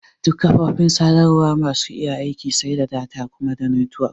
Duk kafofin sadarwa basu iya aiki sai da data da kuma netwok.